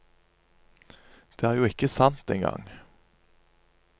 Det er jo ikke sant engang.